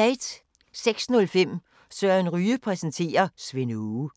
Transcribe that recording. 06:05: Søren Ryge præsenterer: Svend Aage